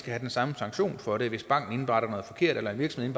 have den samme sanktion for det hvis banken indberetter noget forkert eller hvis en